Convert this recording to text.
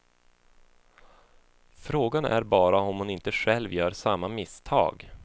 Frågan är bara om hon inte själv gör samma misstag.